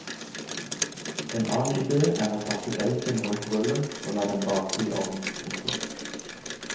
En annen idé er å pakke bacon rundt rullen og la den bake i ovn. punktum